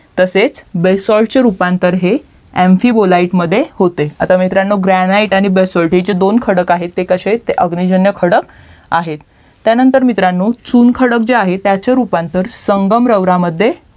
तसेच BASALT रूपांतर हे MP BOLITE मध्ये होते आता मित्रांनो GRANITE आणि BASALT हे हे दोन खडक आहेत ते कशे आहेत तर अग्निजन्य खडक आहेत त्यानंतर मित्रांनो चुन खडक जे आहे त्याचे रूपांतर संगमरवरामद्धे